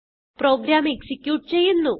programme execute ചെയ്യുന്നു